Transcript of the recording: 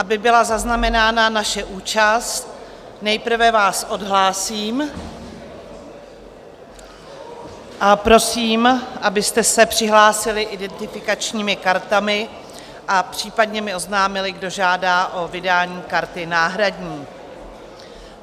Aby byla zaznamenána naše účast, nejprve vás odhlásím a prosím, abyste se přihlásili identifikačními kartami a případně mi oznámili, kdo žádá o vydání karty náhradní.